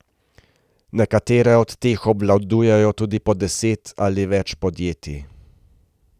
Nekatere od teh obvladujejo tudi po deset ali več podjetij.